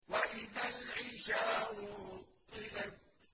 وَإِذَا الْعِشَارُ عُطِّلَتْ